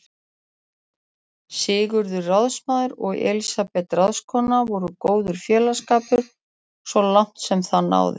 Sigurður ráðsmaður og Elísabet ráðskona voru góður félagsskapur svo langt sem það náði.